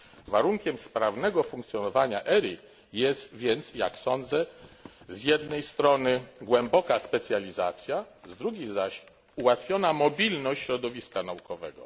Warunkiem sprawnego funkcjonowania ERI jest więc, jak sądzę, z jednej strony głęboka specjalizacja, z drugiej zaś ułatwiona mobilność środowiska naukowego.